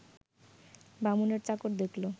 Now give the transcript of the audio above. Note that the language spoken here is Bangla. বামুনের চাকর দেখল